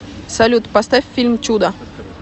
салют поставь фильм чудо